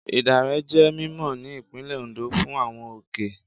Ìdànrè jẹ́ mímọ̀ ní Ìpínlẹ̀ Ondo fún àwọn òkè ẹ̀.